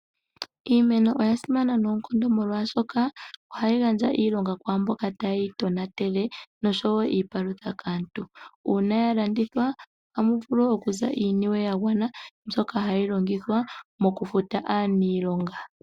Iimeno oya simana noonkondo molwaashoka ohayi gandja iilonga kwaamboka taye yi tonatele noshowo iipalutha kaantu. Una ya landithwa amu vulu okuza iiniwe ya gwana, mbyoka hayi longithwa moku futa aanilonga.